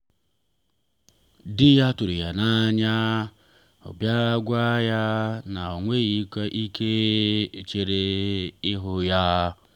di ya tụrụ ya n’anya n’ọrụ bịa gwa ya na o nweghị ike ichere ịhụ ya.